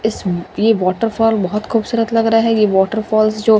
इस ये वौटरफ़ौल बहुत खूबसूरत लग रहा है ये वौटरफ़ौलस जो --